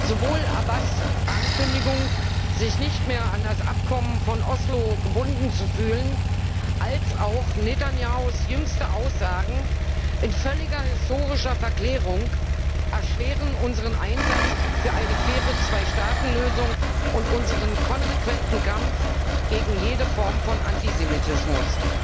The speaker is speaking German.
Sowohl Abbasˊ Ankündigung, sich nicht mehr an das Abkommen von Oslo gebunden zu fühlen, als auch Netanjahus jüngste Aussagen in völliger historischer Verklärung erschweren unseren Einsatz für eine faire Zweistaatenlösung und unseren konsequenten Kampf gegen jede Form von Antisemitismus.